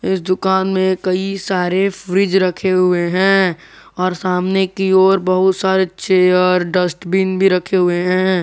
इस दुकान में कई सारे फ्रिज रखे हुए हैं और सामने की ओर बहुत सारे चेयर डस्टबिन भी रखे हुए हैं।